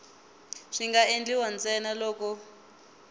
swi nga endliwa ntsena loko